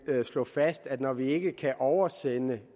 vil slå fast at når vi ikke kan oversende